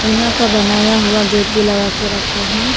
टीना का बनाया हुआ गेट भी लगा के रखा है।